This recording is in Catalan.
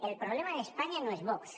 el problema d’espanya no és vox